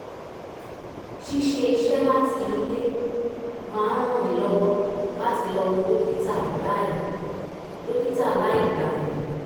ṣíṣe iṣẹ́ láti ilé máa ń ràn mí lọ́wọ́ láti lọ wo dókítà láì dókítà láì gbàyè